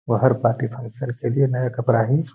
वो हर party function के लिए नया कपड़ा ही --